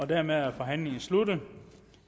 og dermed er forhandlingen sluttet